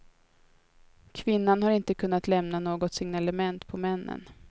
Kvinnan har inte kunnat lämna något signalement på männen.